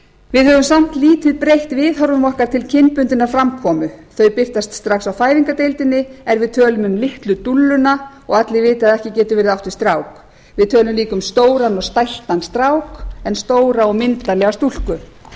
við höfum samt lítið breytt viðhorfum okkar til kynbundinnar framkomu þau birtast strax á fæðingardeildinni er við tölum litlu dúlluna og allir vita að ekki getur verið átt við strák við tölum líka um stóran og stæltan en stóra og myndarlega